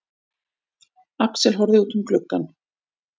Axel horfði út um gluggann.